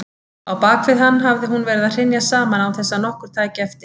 Á bakvið hann hafði hún verið að hrynja saman án þess að nokkur tæki eftir.